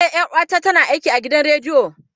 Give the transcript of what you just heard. Eh, 'yar'uwata tana aiki a gidan rediyo.